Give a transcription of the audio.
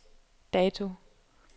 dato